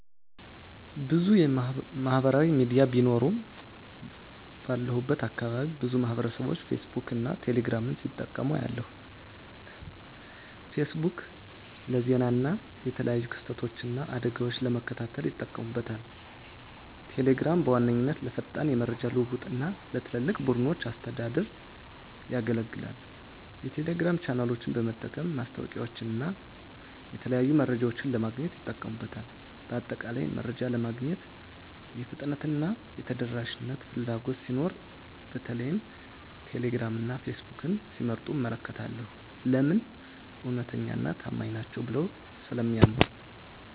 **ብዙ ማህበራዊ ሚዲያ ቢኖሩም፦ ባለሁበት አካባቢ ብዙ ማህበረሰብቦች ፌስቡክን እና ቴሌ ግራምን ሲጠቀሙ አያለሁ፤ * ፌስቡክ: ፌስቡክ ለዜና እና የተለያዩ ክስተቶችን እና አደጋወችን ለመከታተል ይጠቀሙበታል። * ቴሌግራም: ቴሌግራም በዋነኛነት ለፈጣን የመረጃ ልውውጥ እና ለትላልቅ ቡድኖች አስተዳደር ያገለግላል። የቴሌግራም ቻናሎችን በመጠቀም ማስታወቂያወችንና የተለያዩ መረጃዎችን ለማግኘት ይጠቀሙበታል። በአጠቃላይ፣ መረጃ ለማግኘት የፍጥነትና የተደራሽነት ፍላጎት ሲኖር በተለይም ቴሌግራም እና ፌስቡክን ሲመርጡ እመለከታለሁ። *ለምን? እውነተኛና ታማኝ ናቸው ብለው ስለሚያምኑ።